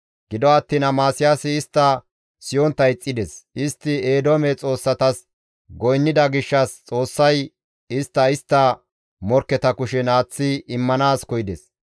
Gido attiin Amasiyaasi istta siyontta ixxides; istti Eedoome xoossatas goynnida gishshas Xoossay istta istta morkketa kushen aaththi immanaas koyides.